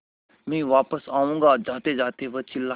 मैं वापस आऊँगा जातेजाते वह चिल्लाया